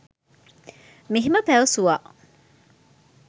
මෙහෙම පැවසුවා.